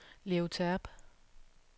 Leo Terp